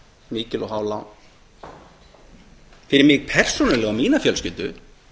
mikil og há lán fyrir mig persónulega og mína fjölskyldu